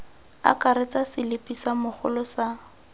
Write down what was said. akaretsa selipi sa mogolo sa